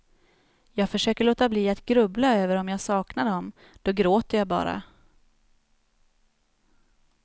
Jag försöker låta bli att grubbla över om jag saknar dem, då gråter jag bara.